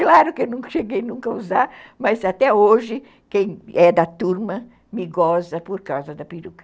Claro que eu cheguei nunca a usar, mas até hoje, quem é da turma me goza por causa da peruca.